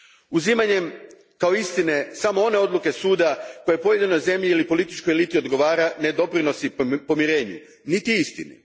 Uzimanjem kao istine samo one odluke Suda koje pojedinoj zemlji ili političkoj eliti odgovara, ne doprinosi pomirenju, niti istini.